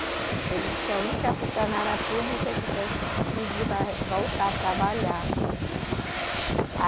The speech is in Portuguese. Ele diz que a única funcionária pública que foi pedir para voltar a trabalhar.